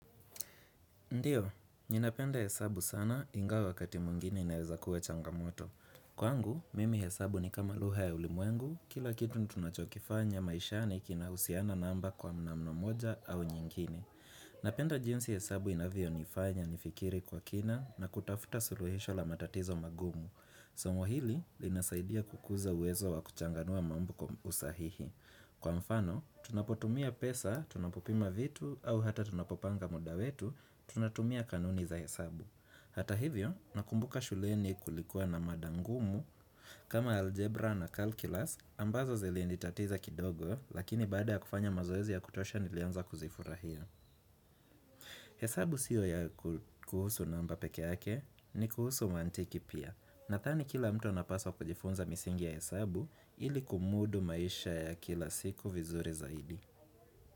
Ndio, ninapenda hesabu sana ingawa wakati mwingine inaweza kuwa changamoto. Kwangu, mimi hesabu ni kama lugha ya ulimwengu, kila kitu tunachokifanya maishani kinahusiana namba kwa namna moja au nyingine Napenda jinsi hesabu inavyo nifanya nifikiri kwa kina na kutafuta suluhisho la matatizo magumu. Somo hili linasaidia kukuza uwezo wa kuchanganua mambo kwa usahihi. Kwa mfano, tunapotumia pesa, tunapopima vitu, au hata tunapopanga muda wetu, tunatumia kanuni za hesabu. Hata hivyo, nakumbuka shuleni kulikuwa na mad angumu, kama algebra na calculus, ambazo ziliinitatiza kidogo, lakini baada ya kufanya mazoezi ya kutosha nilianza kuzifurahia. Hesabu siyo ya kuhusu namba peke yake, ni kuhusu mantiki pia. Nadhani kila mtu anapaswa kujifunza misingi ya hesabu ili kumudu maisha ya kila siku vizuri zaidi.